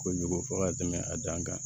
Kojugu fɔ ka tɛmɛ a dan kan